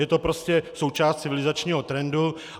Je to prostě součást civilizačního trendu.